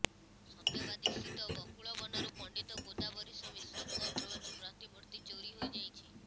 ସତ୍ୟବାଦୀ ସ୍ଥିତ ବକୁଳବନରୁ ପଣ୍ଡିତ ଗୋଦାବରୀଣ ମିଶ୍ରଙ୍କ ବ୍ରୋଂଞ୍ଜ ପ୍ରତିମୂର୍ତି ଚୋରି ହୋଇଯାଇଛି